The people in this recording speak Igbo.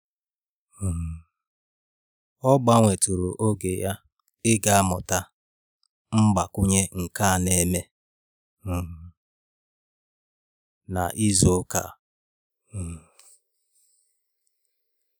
um Ọ gbanwetụrụ oge ya ịga mmụta mgbakwunye nke a na-eme um na ịzụ ụka a um